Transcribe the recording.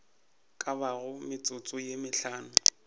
ka bago metsotso ye mehlano